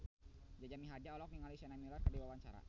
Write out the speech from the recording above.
Jaja Mihardja olohok ningali Sienna Miller keur diwawancara